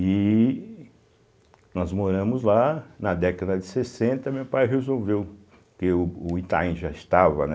E nós moramos lá, na década de sessenta, meu pai resolveu, porque o Itaim já estava, né